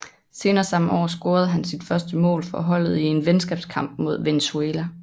Senere samme år scorede han sit første mål for holdet i en venskabskamp mod Venezuela